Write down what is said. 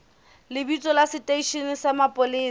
lebitso la seteishene sa mapolesa